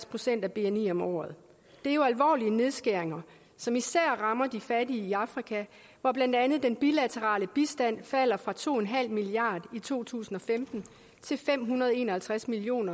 procent af bni om året det er jo alvorlige nedskæringer som især rammer de fattige i afrika hvor blandt andet den bilaterale bistand falder fra to milliard i to tusind og femten til fem hundrede og en og halvtreds million